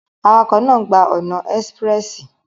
Awakọ naa gba ọna espressi